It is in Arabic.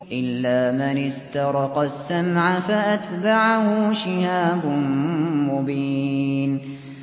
إِلَّا مَنِ اسْتَرَقَ السَّمْعَ فَأَتْبَعَهُ شِهَابٌ مُّبِينٌ